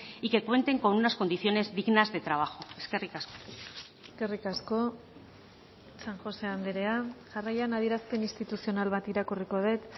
y que cuenten con unas condiciones dignas de trabajo eskerrik asko eskerrik asko san josé andrea jarraian adierazpen instituzional bat irakurriko dut